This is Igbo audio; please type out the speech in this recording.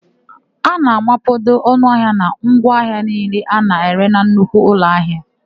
A na-amapado ọnụahịa na ngwa ahịa niile a na-ere na nnukwu ụlọahịa.